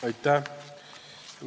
Aitäh!